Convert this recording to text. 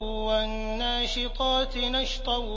وَالنَّاشِطَاتِ نَشْطًا